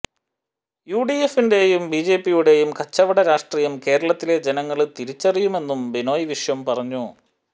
യുഡിഎഫിന്റെയും ബിജെപിയുടെയും കച്ചവട രാഷ്ട്രീയം കേരളത്തിലെ ജനങ്ങള് തിരിച്ചറിയുമെന്നും ബിനോയ് വിശ്വം പറഞ്ഞു